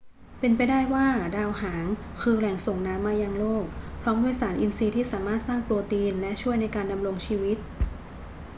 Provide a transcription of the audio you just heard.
เป็นไปได้ว่าดาวหางคือแหล่งส่งน้ำมายังโลก พร้อมด้วยสารอินทรีย์ที่สามารถสร้างโปรตีนและช่วยในการดำรงชีวิต